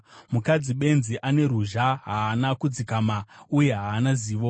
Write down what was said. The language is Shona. Mukadzi benzi ane ruzha; haana kudzikama uye haana zivo.